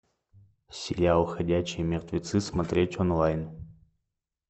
сериал ходячие мертвецы смотреть онлайн